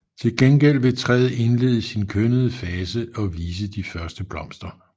Til gengæld vil træet indlede sin kønnede fase og vise de første blomster